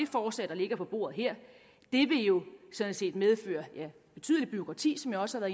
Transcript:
forslag der ligger på bordet her jo sådan set medføre et betydeligt bureaukrati som jeg også har